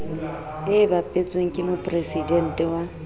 e bapetsweng ke mopresidente wa